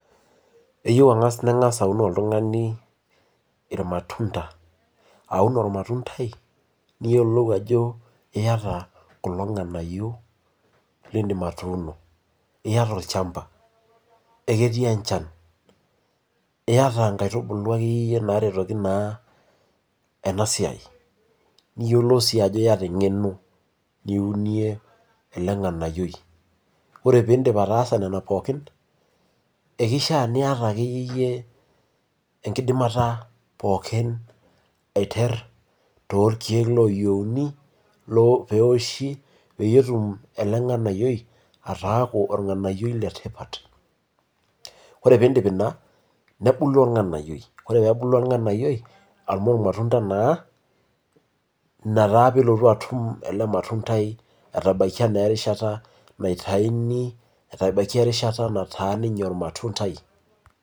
Eyieu angas ningas oltungani aun oltungani ilmatunda, aun olmatundai iyiolo ajo iyata kulo lidim atuuno tiatua olchampa, eketii enchan, iyata nkaitubulu akayie naaretoki naa ena siai iyiolo sii ajo iyata engeno niunie ena toki, ore pee idol ataasa Nena pookin ekishaa niyata akeyie yie enkidimata pookin aiteru torkeek looyieiuni, peeoshi peyie etum ele nganayioi ataaku ornganayio letipat. ore pee idip Ina nebulu olnganayiioi, ore peebulu ornganayio amu irmatunda naa Ina taa peelotu atum ele matundai, aatabaikia na erishata naitayuni, nataa ninye ormatundai.